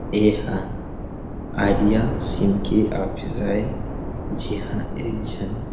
एहा Idea SIM के office आए जिहां एक झीन।